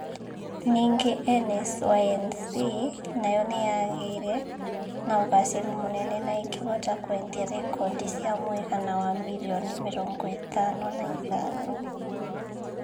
Ningĩ NSync nayo nĩ yaagĩire na ũgaacĩru mũnene na ĩkĩhota kwendia rekondi cia muigana wa mirioni mĩrongo ĩtano na ithano.